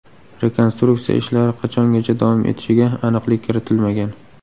Rekonstruksiya ishlari qachongacha davom etishiga aniqlik kiritilmagan.